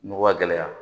Nɔgɔ gɛlɛya